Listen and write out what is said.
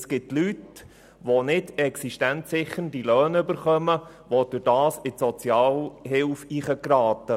Es gibt Leute, die nicht existenzsichernde Löhne erhalten und dadurch in die Sozialhilfe geraten.